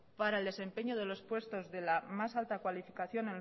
para el desempeño de los puestos de la más alta calificación